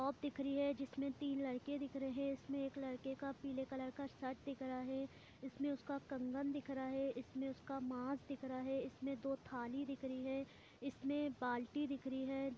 Shop दिख रही है जिसमें तीन लड़के दिख रहे है इसमें एक लड़के का पीले कलर का शर्ट दिख रहा है इसमें उसका कंगन दिख रहा है इसमें उसका मांस दिख रहा है इसमें दो थाली दिख रही है इसमें बाल्टी दिख रही है।